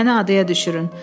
Məni adaya düşürün.